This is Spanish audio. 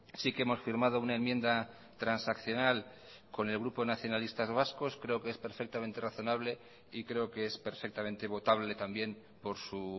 sí que hemos firmado una enmienda transaccional con el grupo nacionalistas vascos creo que es perfectamente razonable y creo que es perfectamente votable también por su